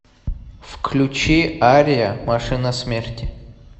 включи ария машина смерти